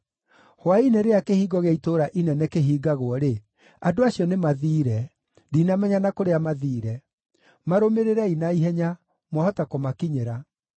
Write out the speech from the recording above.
Hwaĩ-inĩ rĩrĩa kĩhingo gĩa itũũra inene kĩhingagwo-rĩ, andũ acio nĩmathiire. Ndinamenya na kũrĩa mathiire. Marũmĩrĩrei na ihenya. Mwahota kũmakinyĩra.”